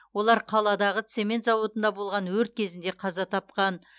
олар қаладағы цемент зауытында болған өрт кезінде қаза тапқан